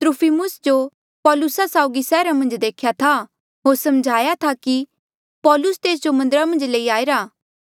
त्रुफिमुस जो पौलुसा साउगी सैहरा मन्झ देख्या था होर समझ्हा ऐें थे कि पौलुस तेस जो मन्दरा मन्झ लई आईरा